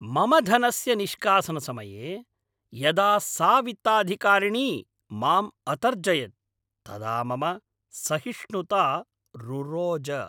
मम धनस्य निष्कासनसमये यदा सा वित्ताधिकारिणी माम् अतर्जयत् तदा मम सहिष्णुता रुरोज।